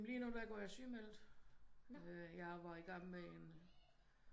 Men lige nu der går jeg sygemeldt jeg var igang en